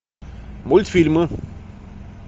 мультфильмы